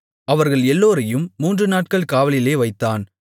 அவர்கள் எல்லோரையும் மூன்றுநாட்கள் காவலிலே வைத்தான்